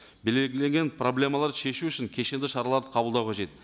проблемаларды шешу үшін кешенді шараларды қабылдау қажет